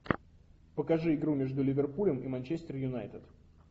покажи игру между ливерпулем и манчестер юнайтед